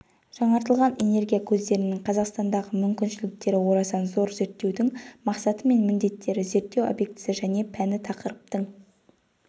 жаңартылатын энергия көздерінің қазақстандағы мүмкіншіліктері орасан зор зерттеудің мақсаты мен міндеттері зерттеу объектісі және пәні тақырыптың